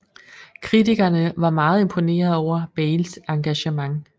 Kritikerne var meget imponeret over Bales engagement